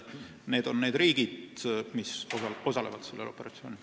Need on riigid, mis osalevad sellel operatsioonil.